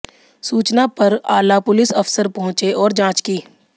सूचना पर आला पुलिस अफसर पहुंचे और जांच की